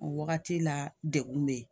O wagati la degun be yen